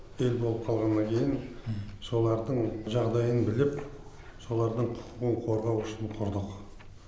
ел болып қалғаннан кейін солардың жағдайын біліп солардың құқығын қорғау үшін құрдық